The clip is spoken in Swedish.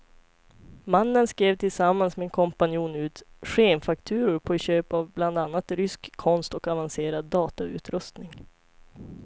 Mannen skrev tillsammans med en kompanjon ut skenfakturor på köp av bland annat rysk konst och avancerad datautrustning.